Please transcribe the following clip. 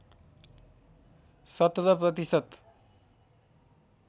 १७ प्रतिशत